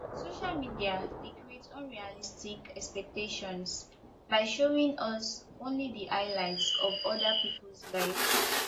social media dey create unrealistic expectations by showing us only di highlight of oda peoples lives